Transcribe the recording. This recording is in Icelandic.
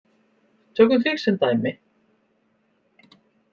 Tökum þig sem dæmi.